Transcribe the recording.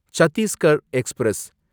Chhattisgarh express